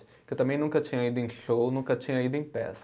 Porque eu também nunca tinha ido em show, nunca tinha ido em peça.